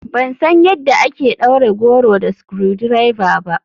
Ban san yadda ake ɗaure goro da screwdriver ba.